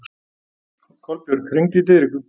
Kolbjörg, hringdu í Diðriku.